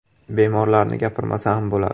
Bemorlarni gapirmasa ham bo‘ladi.